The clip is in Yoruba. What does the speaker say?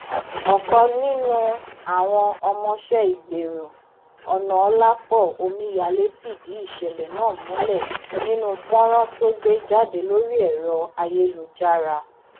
ọkan nínú àwọn ọmọọṣẹ ìgbérò onàọlàpọ omíyalé fìdí ìṣẹlẹ náà múlẹ nínú fọnrán tó gbé jáde lórí ẹrọ ayélujára